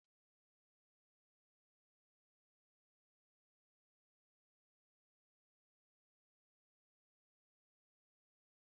Ihe nkiri ndị mmadụ dị ka egwuregwu ndị mmadụ na-etinye iji gosi akụkọ sitere na omenala ma ọ bụ akụkọ ihe mere eme ha.